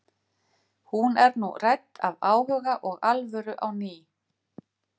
Hún er nú rædd af áhuga og alvöru á ný.